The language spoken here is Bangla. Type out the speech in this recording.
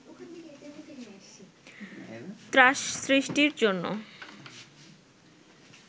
ত্রাস সৃষ্টির জন্য